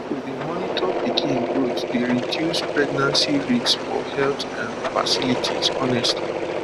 to dey monitor pikin growth dey reduce pregnancy risks for health um facilities honestly